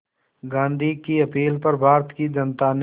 गांधी की अपील पर भारत की जनता ने